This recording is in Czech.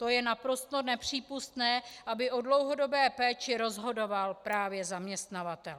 To je naprosto nepřípustné, aby o dlouhodobé péči rozhodoval právě zaměstnavatel.